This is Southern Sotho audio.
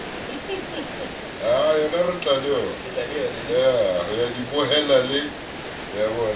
ho ya di bohela le